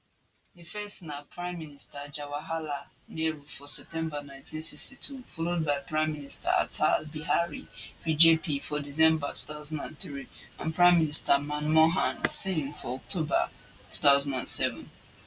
di first na pm jawaharlal nehru for september 1962 followed by pm atal bihari vajpayee for december 2003 and pm manmohan singh for october 2007